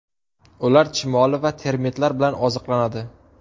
Ular chumoli va termitlar bilan oziqlanadi.